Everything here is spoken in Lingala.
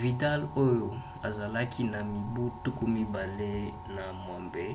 vidal oyo azalaki na mibu 28